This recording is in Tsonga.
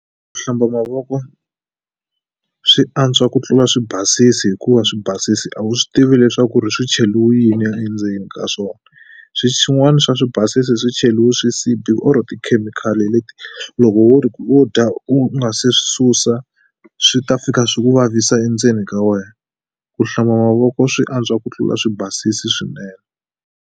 Ku hlamba mavoko swi antswa ku tlula swibasisi hikuva swi basisi a wu swi tivi leswaku ri swi cheliwe yini endzeni ka swona swin'wani swa swibasisi swi cheliwe swisibi or-o tikhemikhali leti loko wo wo dya u nga se swi susa swi ta fika swi ku vavisa endzeni ka wena ku hlamba mavoko swi antswa ku tlula swi basisi swinene.